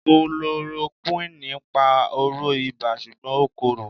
Kulorokúwìnì ń pa oró ibà ṣùgbọ́n ó korò.